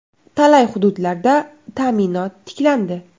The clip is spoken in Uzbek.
Talay hududlarda ta’minot tiklandi.